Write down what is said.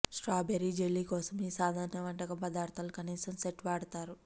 strawberry jelly కోసం ఈ సాధారణ వంటకం పదార్థాలు కనీసం సెట్ వాడతారు